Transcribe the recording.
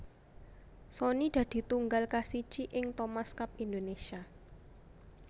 Sony dadi tunggal kasiji ing tim Thomas Cup Indonesia